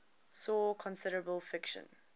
saw considerable friction